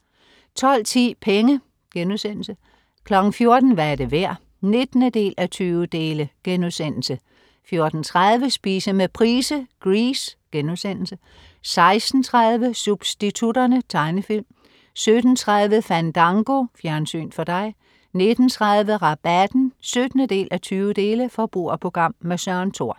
12.10 Penge* 14.00 Hvad er det værd? 19:20* 14.30 Spise med Price. Grease* 16.30 Substitutterne. Tegnefilm 17.30 Fandango. Fjernsyn for dig 19.30 Rabatten 17:20. Forbrugerprogram. Søren Thor